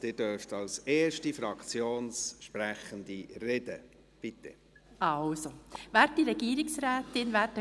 Sie dürfen als erste Fraktionssprechende reden, bitte.